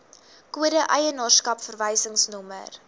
kode eienaarskap verwysingsnommer